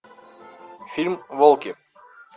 фильм волки